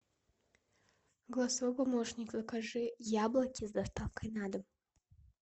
голосовой помощник закажи яблоки с доставкой на дом